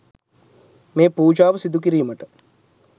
මේ පූජාව සිදු කිරීමට